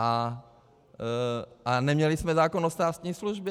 A neměli jsme zákon o státní službě.